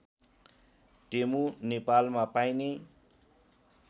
टेमु नेपालमा पाइने